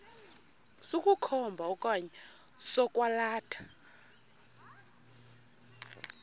sokukhomba okanye sokwalatha